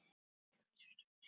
Kanntu vel við rauðvín?